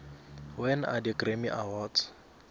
when are the grammy awards